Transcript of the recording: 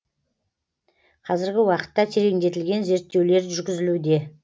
қазіргі уақытта тереңдетілген зерттеулер жүргізілуде